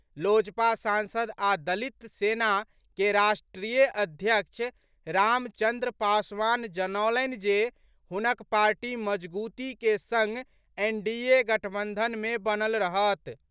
लोजपा सांसद आ दलित सेना के राष्ट्रीय अध्यक्ष रामचंद्र पासवान जनौलनि जे हुनक पार्टी मजगूती के संग एनडीए गठबंधन मे बनल रहत।